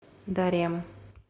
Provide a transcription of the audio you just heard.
дарем